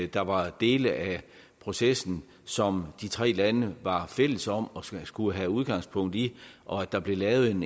der var dele af processen som de tre lande var fælles om at skulle have udgangspunkt i og at der blev lavet en